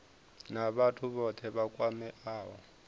na vhathu vhothe vha kwameaho